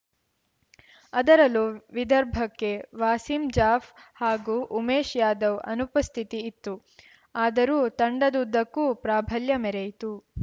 ಅದರಲ್ಲೂ ವಿದರ್ಭಕ್ಕೆ ವಾಸೀಂ ಜಾಫ್ ಹಾಗೂ ಉಮೇಶ್‌ ಯಾದವ್‌ ಅನುಪಸ್ಥಿತಿ ಇತ್ತು ಆದರೂ ತಂಡದುದ್ದಕ್ಕೂ ಪ್ರಾಭಲ್ಯ ಮೆರೆಯಿತು